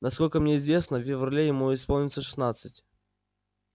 насколько мне известно в феврале ему исполнится шестнадцать